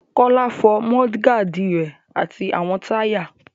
Kọ́lá fọ mọ́ọ́dígaàdi rẹ̀ àti àwọn táyà.